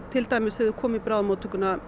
þegar þau koma í bráðamóttökuna